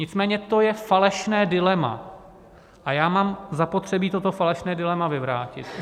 Nicméně to je falešné dilema a já mám zapotřebí toto falešné dilema vyvrátit.